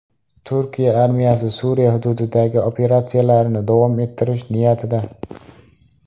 Turkiya armiyasi Suriya hududidagi operatsiyalarni davom ettirish niyatida.